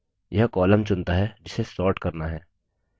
यह column चुनता है जिसे sort करना है